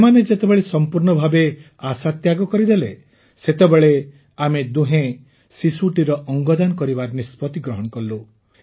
ସେମାନେ ଯେତେବେଳେ ସମ୍ପୂର୍ଣ୍ଣ ଭାବେ ଆଶା ତ୍ୟାଗ କରିଦେଲେ ସେତେବେଳେ ଆମେ ଦୁହେଁ ଶିଶୁଟିର ଅଙ୍ଗଦାନ କରିବାର ନିଷ୍ପତି ଗ୍ରହଣ କଲୁ